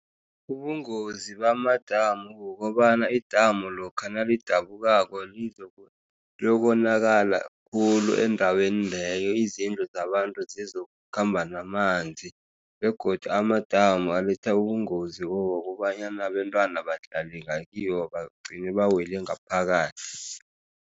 Ubungozi bamadamu kukobana idamu lokha nalidabukako kuyokonakala khulu endaweni leyo. Izindlu zabantu zokukhamba namanzi, begodu amadamu aletha ubungozi bokobanyana abentwana badlalela kiwo, bagcine bawele ngaphakathi.